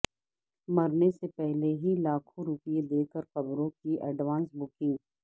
مرنے سے پہلے ہی لاکھوں روپے دے کر قبروں کی اڈوانس بکنگ